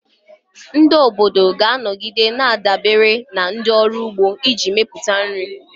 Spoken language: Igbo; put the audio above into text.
Ndị ọrụ ugbo ga-anọgide na-adabere na ndị ọrụ ugbo iji mepụta nri.